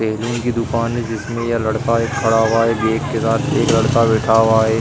Salon की दुकान है जिसमे यह लड़का एक खड़ा हुआ है। एक साथ एक लड़का बैठा हुआ है।